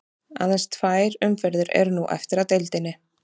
Aðeins tvær umferðir eru nú eftir af deildinni.